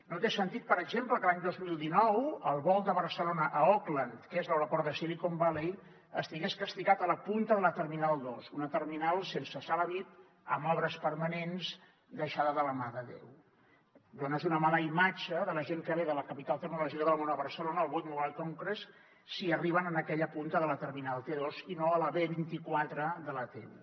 no té sentit per exemple que l’any dos mil dinou el vol de barcelona a oakland que és l’aeroport de silicon valley estigués castigat a la punta de la terminal dos una terminal sense sala vip amb obres permanents deixada de la mà de déu dones una mala imatge a la gent que ve de la capital tecnològica del món a barcelona al world mobile congress si arriben a aquella punta de la terminal t2 i no a la b24 de la t1